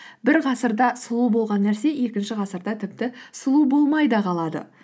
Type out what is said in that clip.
бір ғасырда сұлу болған нәрсе екінші ғасырда тіпті сұлу болмай да қалады